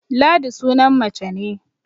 Ladi sunan mace ne